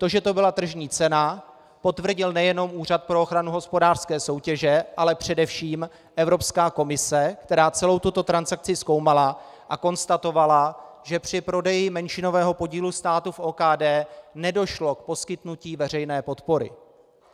To, že to byla tržní cena, potvrdil nejen Úřad pro ochranu hospodářské soutěže, ale především Evropská komise, která celou tuto transakci zkoumala a konstatovala, že při prodeji menšinového podílu státu v OKD nedošlo k poskytnutí veřejné podpory.